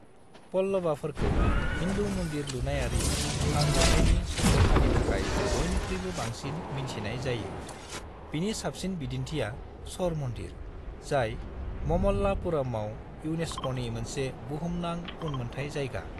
पल्लवाफोरखौ हिन्दु मन्दिर लुनायारि सानज'थायनि संरैखानि थाखाय बयनिख्रुयबो बांसिन मिन्थिनाय जायो, बिनि साबसिन बिदिन्थिया श'र मन्दिर, जाय ममल्लापुरमाव इउनेस्क'नि मोनसे बुहुमनां उनमोन्थाय जायगा।